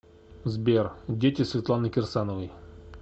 сбер дети светланы кирсановой